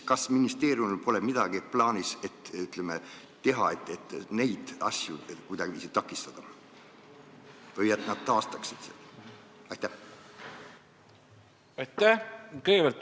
Kas ministeeriumil ei ole plaanis midagi teha, et neid asju kuidagiviisi takistada, või teha midagi selleks, et nad pinnase taastaksid?